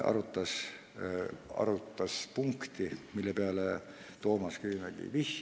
Komisjon arutas ka punkti, millele Toomas Kivimägi vihjas.